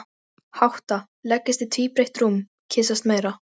Hátta, leggjast í tvíbreitt rúm, kyssast meira.